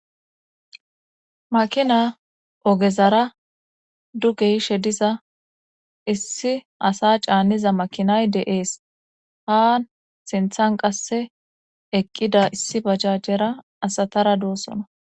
makina ogezara dugeyishe diza issi asa caanniza makinay deees ha sinthan qasse eqqida issi bajajjera asatara doosona